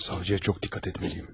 Savcıya çox diqqət etməliyəm.